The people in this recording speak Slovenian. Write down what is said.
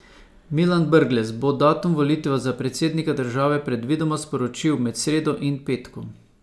Milan Brglez bo datum volitev za predsednika države predvidoma sporočil med sredo in petkom.